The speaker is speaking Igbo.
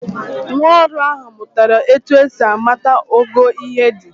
Nwaọrụ ahụ mụtara etu esi amata ogo ihe dị.